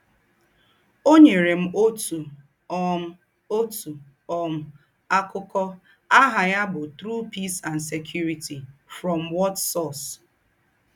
“ Ọ́ nyèrè m òtù um m òtù um àkụ́kọ̀ àhà ya bụ̀ True Peace and Security—From What Source? ”